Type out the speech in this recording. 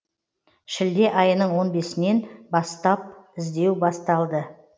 шілде айының он бесінен бастап іздеу басталды